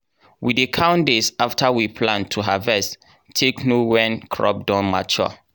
we dey count days after we plant to harvest take know when crop don mature.